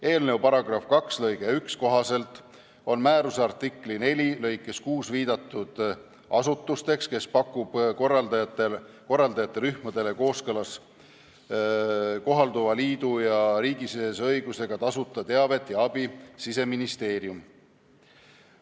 Eelnõu § 2 lõike 1 kohaselt on määruse artikli 4 lõikes 6 viidatud asutus, kes pakub korraldajate rühmadele kooskõlas kohalduva liidu ja riigisisese õigusega tasuta teavet ja abi, Siseministeerium.